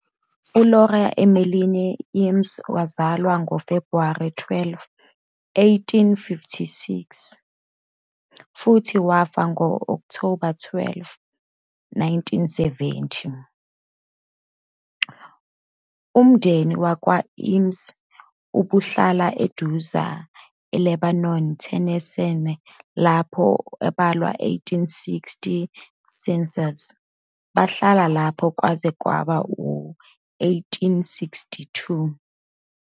ULaura Emeline Eames wazalwa ngoFebhuwari 12, 1856 futhi wafa ngo-Okthoba 12, 1917. Umndeni wakwa-Eames ubuhlala eduzane Lebanon, Tennessee lapho ubalwa 1860 Census, bahlala lapho kwaze kwaba ngu-1862.